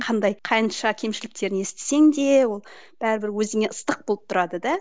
қандай қанша кемшіліктерін естісең де ол бәрібір өзіңе ыстық болып тұрады да